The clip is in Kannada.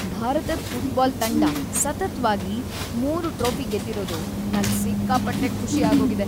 ಭಾರತದ್ ಫುಟ್ಬಾಲ್ ತಂಡ ಸತತ್ವಾಗಿ ಮೂರು ಟ್ರೋಫಿ ಗೆದ್ದಿರೋದು ನಂಗ್ ಸಿಕ್ಕಾಪಟ್ಟೆ ಖುಷಿ ಆಗೋಗಿದೆ.